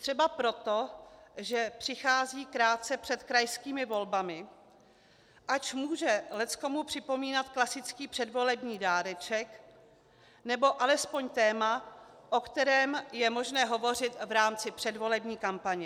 Třeba proto, že přichází krátce před krajskými volbami, ač může leckomu připomínat klasický předvolební dáreček nebo alespoň téma, o kterém je možné hovořit v rámci předvolební kampaně.